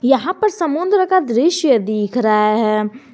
यहां पर समुद्र का दृश्य दिख रहा है।